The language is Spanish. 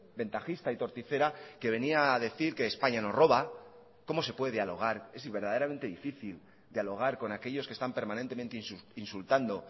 ventajista y torticera que venía a decir que españa nos roba cómo se puede dialogar es verdaderamente difícil dialogar con aquellos que están permanentemente insultando